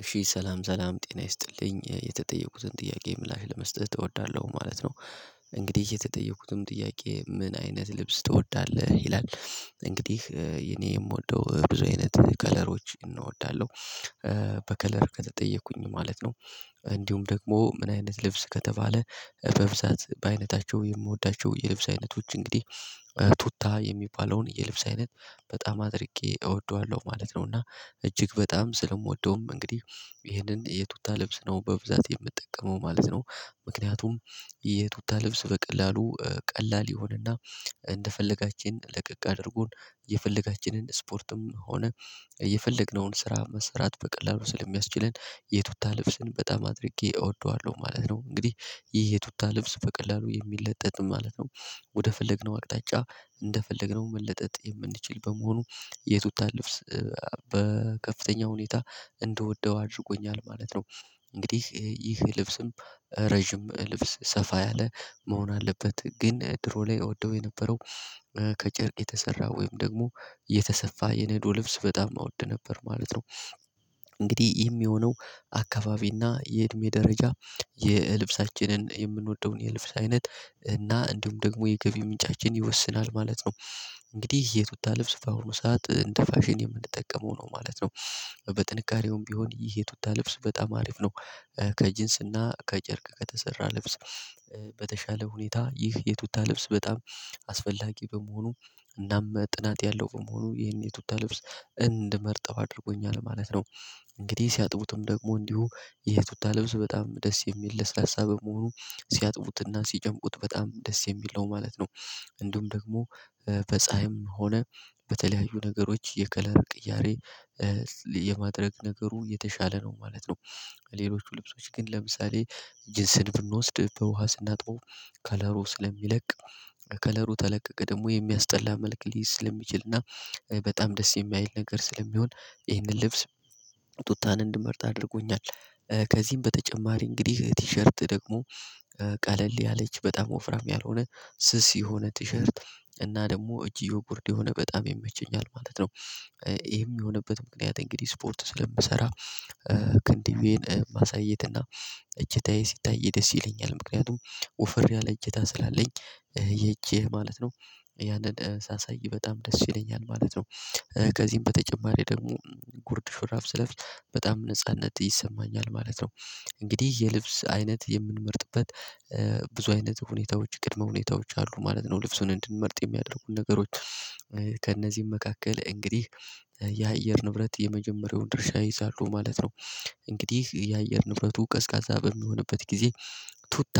እሺ ሰላም ሰላም ጤና ይስጥልኝ የተጠየቁትን ጥያቄ ምላሽ ለመስጠት እወዳለሁ ማለት ነው። እንግዲህ የተጠየኩትም ጥያቄ ምን አይነት ልብስ ትወዳለህ? ይላል። እንግዲህ የኔ የምወደው ብዙ አይነት ከለሮች እናወዳለሁ። በከለር ከተጠየቅኩኝ ማለት ነው። እንዲሁም ደግሞ ምን አይነት ልብስ ከተባለ? በብዛት በአይነታቸው የምወዳቸው የልብስ አይነቶች እንግዲህ ቱታ የሚባለውን የልብስ አይነት በጣም አድርጌ እወደዋለሁ ማለት ነው። እና እጅግ በጣም ስለምወደውም እንግዲህ ይሄንን የቱታ ልብስ ነው በብዛት የምጠቀመው ማለት ነው። ምክንያቱም የቱታ ልብስ በቀላሉ ቀላል ይሆንና እንደፈለጋችን ለቀቅ አድርጎን የፈለጋችንን ስፖርትም ሆነ የፈለግነውን ስራ መሰራት በቀላሉ ስለሚያስችለን። የቱታ ልብስን በጣም አድርጌ እወደዋለሁ ማለት ነው። እንግዲህ የቱታ ልብሱ በቀላሉ የሚለጠጥም ማለት ነው። ወደ ፈለግነው አቅጣጫ እንደፈለግነው መለጠጥ የምንችል በመሆኑ የቱታ ልብስ በከፍተኛ ሁኔታ እንድወደው አድርጎኛል ማለት ነው። እንግዲህ ይህ ልብስም ረጅም ልብስ ሰፋ ያለ መሆን አለበት። ግን ድሮ ላይ እወደው የነበረው ከጨርቅ የተሰራ ወይም ደግሞ የተሰፋ የነዶ ልብስ በጣም እወደ ነበር ማለት ነው። እንግዲህ ይህም የሆነው አካባቢና የእድሜ ደረጃ የልብሳችንን የምንወደውን የልብስ አይነት እና እንዲሁም ደግሞ የገቢ ምንጫችን ይወስናል ማለት ነው። እንግዲህ የቱታ ልብስ በአሁኑ ሰዓት እንደ ፋሽን የምንጠቀመው ነው ማለት ነው። በጥንካሬውም ቢሆን ይህ የቱታ ልብስ በጣም አሪፍ ነው። ከጅንስና ከጨርቅ ከተሰራ ልብስ በተሻለ ሁኔታ ይህ የቱታ ልብስ በጣም አስፈላጊ በመሆኑ እናም ጥራት ያለው በመሆኑ ይህን የቱታ ልብስ እንድመርጠው አድርጎኛል ማለት ነው። እንግዲህ ሲያጥቡትም ደግሞ እንዲሁ ይሄ ቱታ ልብስ በጣም ደስ የሚል ለስላሳ በመሆኑ ሲያጥቡትና ሲጨምቁት በጣም ደስ የሚል ነው ማለት ነው። እንዲሁም ደግሞ በፀሀይም ሆነ በተለያዩ ነገሮች የከለር ቅያሬ የማድረግ ነገሩ የተሻለ ነው ማለት ነው። ሌሎቹ ልብሶች ግን ለምሳሌ ጅስን ብንወስድ በውሃ ስናጥበው ከለሩ ስለሚለቅ ከለሩ ተለቀቀ ደግሞ የሚያስጠላ መልክ ሊይዝ ስለሚችልና በጣም ደስ የማይል ነገር ስለሚሆን ይህንን ልብስ ቱታን እንድመርጥ አድርጎኛል። ከዚህም በተጨማሪ እንግዲህ ቲሸርት ደግሞ ቀለል ያለች በጣም ወፍራም ያልሆነ ስስ የሆነ ቲሸርት እና ደግሞ እጅዬው ጉርድ የሆነ በጣም ይመቸኛል ማለት ነው። ይሄም የሆነበት ምክንያት እንግዲህ ስፖርት ስለምሰራ ክንድዌን ማሳየትና እጅታዬ ሲታይ ደስ ይለኛል ምክንያቱም ወፍር ያለ እጅታ ስላለኝ። ይሄ እጅ ማለት ነው። ያንን ሳሳይ በጣም ደስ ይለኛል ማለት ነው። ከዚህም በተጨማሪ ደግሞ ጉርድ ሽራፍ ስለብስ በጣም ነጻነት ይሰማኛል ማለት ነው። እንግዲህ የልብስ አይነት የምንመርጥበት ብዙ አይነት ሁኔታዎች ቅድመ ሁኔታዎች አሉ ማለት ነው ልብሱን እንድንመርጥ የሚያደርጉን ነገሮች። ከእነዚህም መካከል እንግዲህ የአየር ንብረት የመጀመሪያውን ድርሻ ይይዛሉ ማለት ነው። እንግዲህ የአየር ንብረቱ ቀዝቃዛ በሚሆንበት ጊዜ ቱታ